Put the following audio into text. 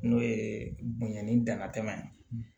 N'o ye bunyɛ ni danatɛma ye